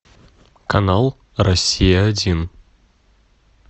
канал россия один